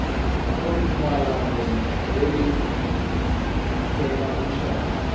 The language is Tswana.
mo tumalanong le le tlhomamisang